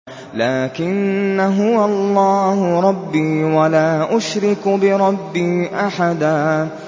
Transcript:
لَّٰكِنَّا هُوَ اللَّهُ رَبِّي وَلَا أُشْرِكُ بِرَبِّي أَحَدًا